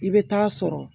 I bɛ taa sɔrɔ